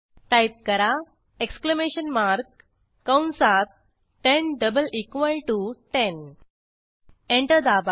type करा exclamation mark कंसात 10 double equal to 10 enter दाबा